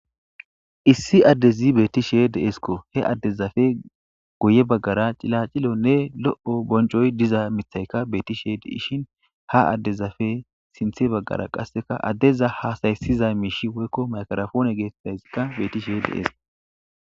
Issi adez betishe de7esiko. He adezafe guye bagara xilaxilene lo7o boncoy diza mithayka betishe de7ishin ha dezafe sintha bagara qase adeza hasa7isiza mishsh woyiko mayikirafone getitzayis betishe des.